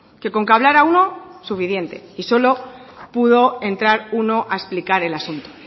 que con que hablara uno suficiente y solo pudo entrar uno a explicar el asunto